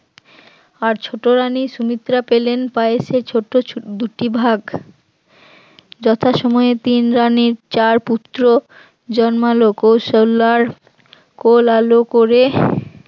আর ছোট রানিং সুমিত্রা পেলেন পায় এসে ছোট দুটি ভাগ যথাসময়ে তিন রানীর চার পুত্র জন্মালো কৌশল্যার কোল আলো করে